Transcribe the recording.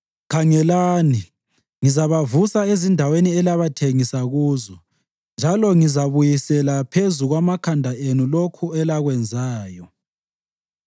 Khangelani, ngizabavusa ezindaweni elabathengisa kuzo, njalo ngizabuyisela phezu kwamakhanda enu lokho elakwenzayo.